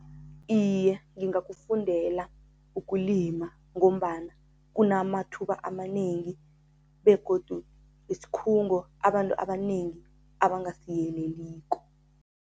Iye, ngingakufundela ukulima ngombana kunamathuba amanengi begodu isikhungo abantu abanengi abangasiyeleliko.